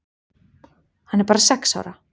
Hann er bara sex ára.